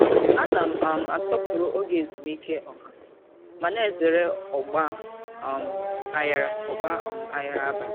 Ana m um asọpụrụ oge ezumike ọha ma na-ezere ọgba um aghara ọgba um aghara abalị.